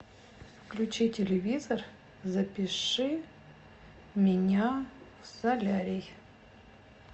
включи телевизор запиши меня в солярий